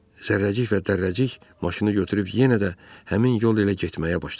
Zərrəcik və Dərrəcik maşını götürüb yenə də həmin yol ilə getməyə başladılar.